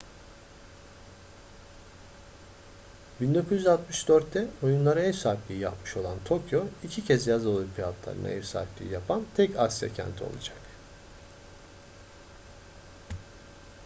1964'te oyunlara ev sahipliği yapmış olan tokyo iki kez yaz olimpiyatlarına ev sahipliği yapan tek asya kenti olacak